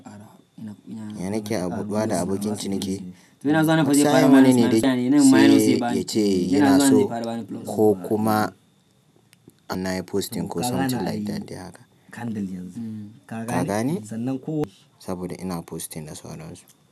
Ya nake a buɗuwa da abokin ciniki? Sai mene sai ya ce yana so ko kuma anayi posting ko somtin lyk that dai haka. Ka gane? Saboda ina posting da sauransu.